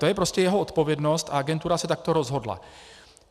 To je prostě jeho odpovědnost a agentura se takto rozhodla.